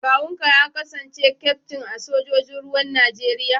Kawunka ya kasance kyaftin a sojojin ruwan Najeriya?